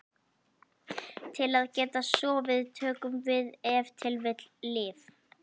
Til að geta sofið tökum við ef til vill lyf.